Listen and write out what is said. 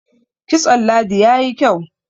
kitson ladi ya yi kyau